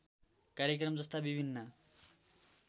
कार्यक्रम जस्ता विभिन्न